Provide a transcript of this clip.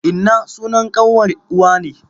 Inna sunan ƙanwar uwa ne.